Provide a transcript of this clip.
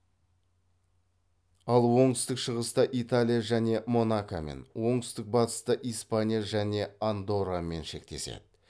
ал оңтүстік шығыста италия және монакомен оңтүстік батыста испания және андоррамен шектеседі